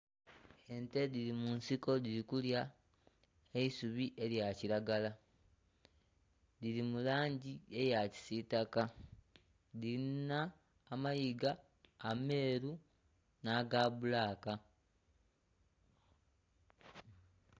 Ente dhiri mu nsiko dhiri kulya eisubi elya kilagala. Dhiri mu langi eya kisitaka, dhilina amayiga ameeru nh'agabbulaaka.